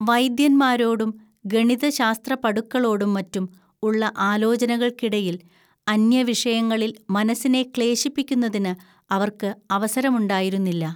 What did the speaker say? വൈദ്യന്മാരോടും ഗണിതശാസ്ത്രപടുക്കളോടും മറ്റും ഉള്ള ആലോചനകൾക്കിടയിൽ അന്യവിഷയങ്ങളിൽ മനസ്സിനെ ക്ലേശിപ്പിക്കുന്നതിന് അവർക്ക് അവസരമുണ്ടായിരുന്നില്ല